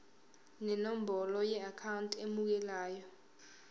nenombolo yeakhawunti emukelayo